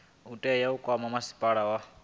tea u kwama masipala wa